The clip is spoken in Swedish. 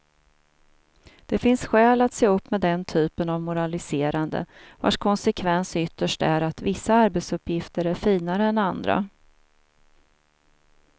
Det finns skäl att se upp med den typen av moraliserande, vars konsekvens ytterst är att vissa arbetsuppgifter är finare än andra.